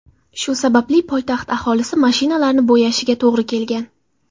Shu sababli poytaxt aholisi mashinalarini bo‘yashiga to‘g‘ri kelgan.